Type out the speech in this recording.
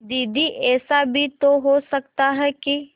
दीदी ऐसा भी तो हो सकता है कि